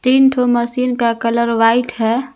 तीन ठो मशीन का कलर व्हाइट है।